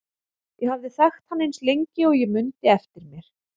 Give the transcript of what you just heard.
Ég hafði þekkt hann eins lengi og ég mundi eftir mér.